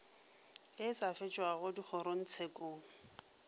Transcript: ye e sa fetšwago dikgorotshekong